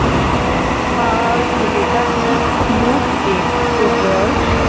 ছেলেটা কি cute দেখতে বল